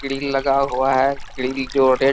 grill लगा हुआ है ग्रिल जो रेड --